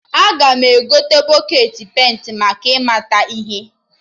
Aga m egote bọketị penta maka ị mata ihe